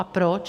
A proč?